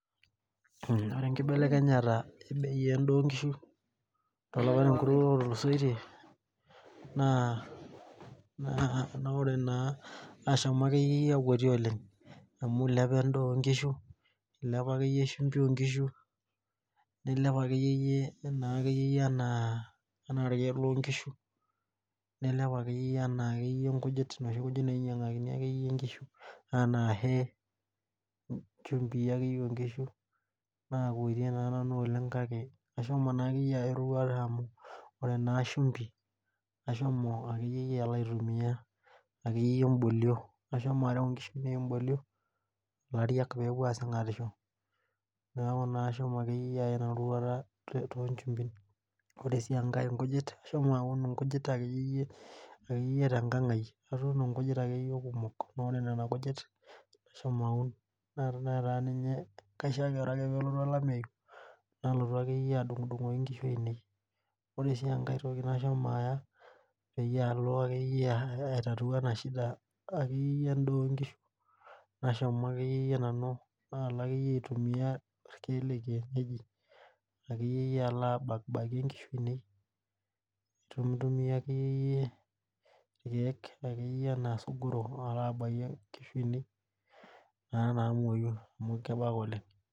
Ore enkibelekenyata endaa oonkishu tolapa otululusoyie nashomo akeyie akwetie oleng amu eilepa endaa oonkishu neilep sumbi oonkishu neilel irkiek loonkishu injumbii akeyie oonkishu naakwetie naanu oleng kake ashomo aya erishata amu ore naa sumbi ashomo aitumiya akeyiei imbolio ashomo areu inkishu imbolie peepuo aasing'atisho ashomo akeyie aya ina roruata ore sii enkae inkujit ashomo aun inkujit akeyie tengang aai atuuno akeyie inkujit kumok naa ore nena kujit ashomo aaun naa tene lotu olameyu nalotu adung'udungoki nkishu ainei ore enkae toki nashomo aya ashomo aitatua ena shinda endaa oonkishu nashomo akeyie nanu irkiek lekienyeji akeyie alo abakie inkishu ainei peemeitumiya irkiek irkiek enaa isugurok alo abakie inkushu aainei naamoyu amu kebak oleng.